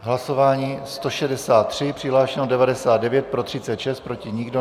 Hlasování 163, přihlášeno 99, pro 36, proti nikdo.